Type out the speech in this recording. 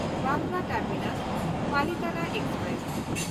Bandra ᱴᱟᱨᱢᱤᱱᱟᱥ–ᱯᱟᱞᱤᱛᱟᱱᱟ express